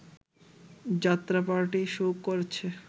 যাত্রাপার্টি show করছে